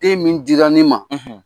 E min dira ne ma,